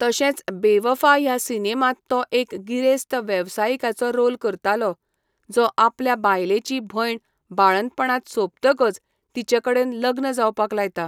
तशेंच बेवफा ह्या सिनेमांत तो एक गिरेस्त वेवसायिकाचो रोल करतालो, जो आपल्या बायलेची भयण बाळंतपणांत सोंपतकच तिचे कडेन लग्न जावपाक लायता.